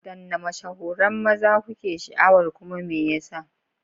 Wadanne mashahuran maza kuke sha'awar kuma me yasa?